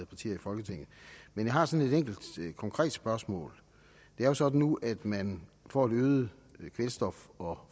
partier i folketinget men jeg har sådan et enkelt konkret spørgsmål det er jo sådan nu at man får et øget kvælstof og